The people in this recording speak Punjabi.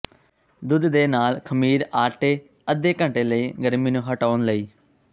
ਦੁੱਧ ਦੇ ਨਾਲ ਖਮੀਰ ਆਟੇ ਅੱਧੇ ਘੰਟੇ ਲਈ ਗਰਮੀ ਨੂੰ ਹਟਾਉਣ ਲਈ